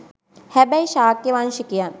හැබැයි ශාක්‍ය වංශිකයන්